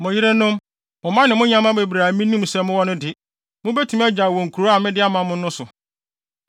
Mo yerenom, mo mma ne mo nyɛmmoa bebrebe a minim sɛ mowɔ no de, mubetumi agyaw wɔ nkurow a mede ama mo no so.